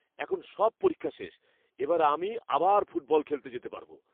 এখন সব পরীক্ষা শেষ, এবার আমি আবার ফুটবল খেলতে যেতে পারবো।